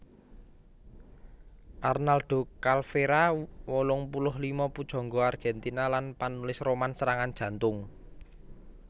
Arnaldo Calveyra wolung puluh lima pujangga Argèntina lan panulis roman serangan jantung